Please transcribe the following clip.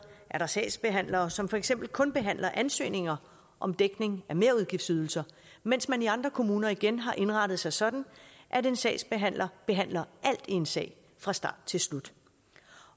er der sagsbehandlere som for eksempel kun behandler ansøgninger om dækning af merudgiftsydelser mens man i andre kommuner igen har indrettet sig sådan at en sagsbehandler behandler alt i en sag fra start til slut